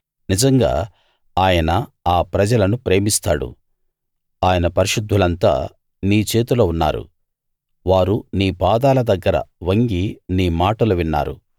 నిజంగా ఆయన ఆ ప్రజలను ప్రేమిస్తాడు ఆయన పరిశుద్ధులంతా నీ చేతిలో ఉన్నారు వారు నీ పాదాల దగ్గర వంగి నీ మాటలు విన్నారు